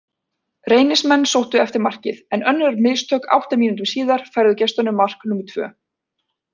Reynismenn sóttu eftir markið, en önnur mistök átta mínútum síðar færðu gestunum mark númer tvö.